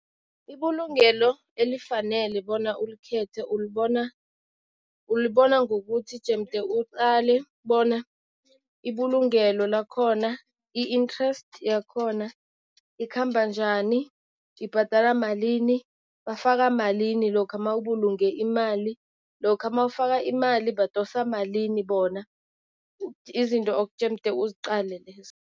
Ibulungelo elifanele bona ulikhethe ulibona, ulibona ngokuthi jemde uqale bona ibulungelo lakhona i-interest yakhona ikhamba njani. Ibhadalwa malini, bafaka malini lokha mawubulunge imali, lokha mawufaka imali badosa malini bona, izinto okujemde uziqale lezo.